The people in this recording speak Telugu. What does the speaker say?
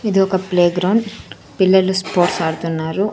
ఇది ఒక ప్లేగ్రౌండ్ పిల్లలు స్పోర్ట్స్ ఆడుతున్నారు.